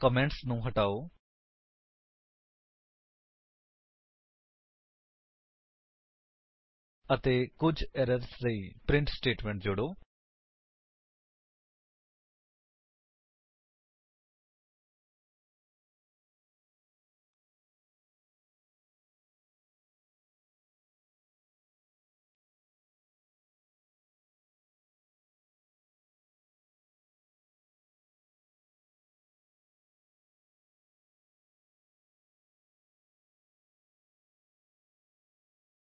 comments ਨੂੰ ਹਟਾਓ ਅਤੇ ਕੁੱਝ ਏਰਰਸ ਲਈ ਪ੍ਰਿੰਟ ਸਟੇਟਮੇਂਟ ਜੋੜੋ